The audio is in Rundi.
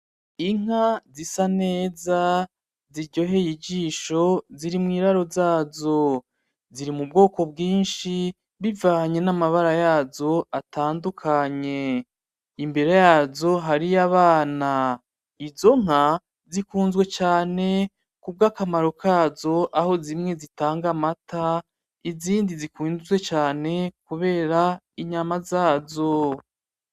Inka zisa neza ziryoheye ijisho ziri mwiraro zazo. Ziri mubwoko bwinshi zivanye namabara yazo atandukanye. Imbere yazo hariho abana. Izo nka zikunzwe cane kubwakamaro kazo, aho zimwe zitanga amata izindi zikunzwe cane kubera inyama zazo.